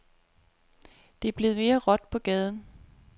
Det er blevet mere råt på gaden.